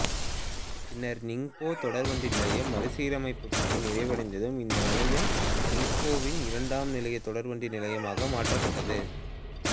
பின்னா் நிங்போ தொடர்வண்டி நிலையம் மறுசீரமைப்புப் பணி நிறைவடைந்ததும் இந்த நிலையம் நிங்போவின் இரண்டாம் நிலைத் தொடர்வண்டி நிலையமாக மாற்றப்பட்டது